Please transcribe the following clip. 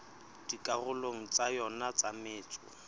dikarolong tsa yona tsa metso